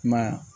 Ma